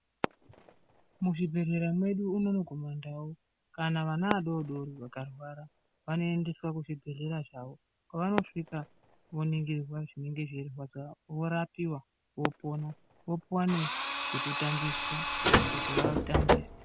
Muzvibhedhlera kwedu unono kumandau kana ana adodori akarwara vanoendeswa kuzvibhedhlera zvavo kwavanosvika voningirwa zvinenge zvichivarwadza vorapiwa vopona vopuwa nezvekutambisa kuti vatambise.